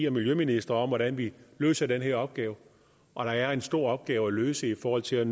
og miljøministre om hvordan vi løser den her opgave og der er en stor opgave at løse i forhold til at